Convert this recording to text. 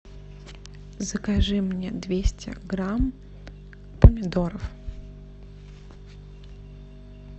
закажи мне двести грамм помидоров